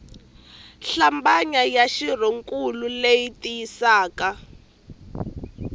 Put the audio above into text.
hlambanya ya xirhonkulu leyi tiyisisaka